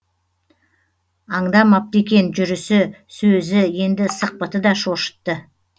аңдамапты екен жүрісі сөзі енді сықпыты да шошытты